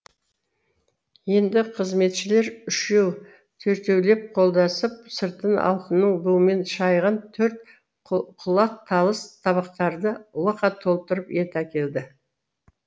енді қызметшілер үшеу төртеулеп қолдасып сыртын алтынның буымен шайған төрт құлақ талыс табақтарды лықа толтырып ет әкелді